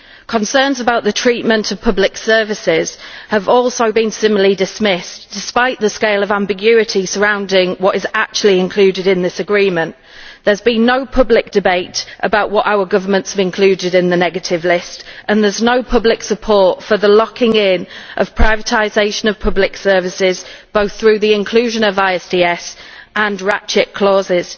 Concerns about the treatment of public services have been similarly dismissed, despite the scale of ambiguity surrounding what is actually included in this agreement. There has been no public debate about what our governments have included in the negative list, and there is no public support for the locking in of the privatisation of public services, both through the inclusion of ISDS and ratchet clauses.